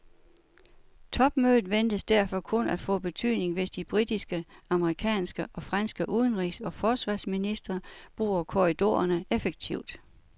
Topmødet ventes derfor kun at få betydning, hvis de britiske, amerikanske og franske udenrigs og forsvarsministre bruger korridorerne effektivt.